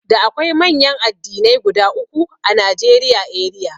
Da akwai manyan addinai guda uku a Najeriya eriya.